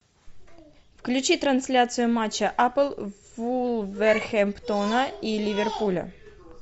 включи трансляцию матча апл вулверхэмптона и ливерпуля